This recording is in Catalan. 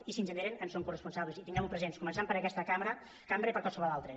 i si en generen en som coresponsables i tinguem ho present començant per aquesta cambra i per qualsevol altra